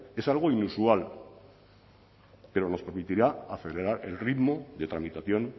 es algo inusual pero nos permitirá acelerar el ritmo de tramitación